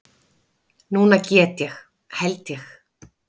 Núna get ég. held ég.